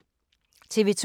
TV 2